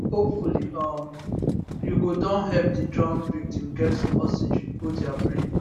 hopefully um you go don help di drown victim get some oxygen go dia brain